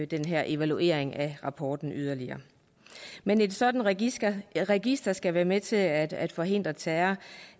den her evaluering af rapporten men et sådant register register skal være med til at at forhindre terror